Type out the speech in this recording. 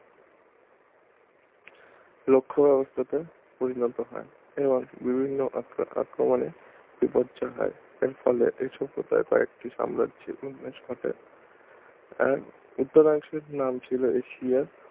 লক্ষব্যবস্থাতে পরিণত হয় এরাও বিভিন্ন আক্রমনে বিপর্যয় হয় এর ফলে এই সভ্যতায় প্রায় একটি সাম্রাজ্যের উন্মেষ ঘটে এর উত্তর অংশের নাম ছিল এসিরিয়া